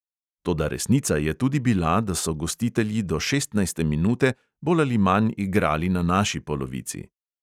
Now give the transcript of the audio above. Toda resnica je tudi bila, da so gostitelji do šestnajste minute bolj ali manj igrali na naši polovici.